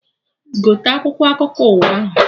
Gote akwụkwọ akụkọ ụwa ahụ!